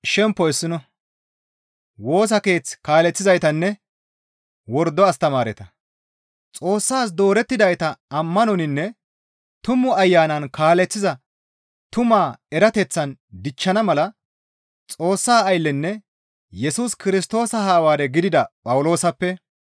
Xoossas doorettidayta ammanoninne Tumu Ayanan kaaleththiza tumaa erateththan dichchana mala Xoossa ayllenne Yesus Kirstoosa Hawaare gidida Phawuloosappe,